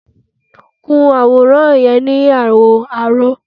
Kun àwòrán yẹn ni àwọ̀ aró!